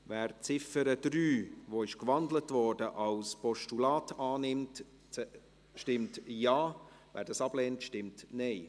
Wer die Ziffer 3, die gewandelt wurde, als Postulat annimmt, stimmt Ja, wer dies ablehnt, stimmt Nein.